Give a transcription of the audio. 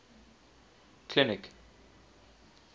clinic